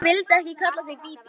En ég vildi ekki kalla þig Bíbí.